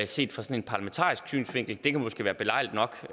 set fra en parlamentarisk synsvinkel det kan måske være belejligt nok